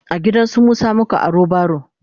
a gidansu Musa muka aro baro